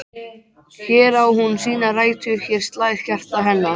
Hér á hún sínar rætur, hér slær hjarta hennar.